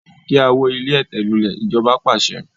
Kí a wó ilé ẹ̀tẹ̀ lulè! ijoba paṣẹ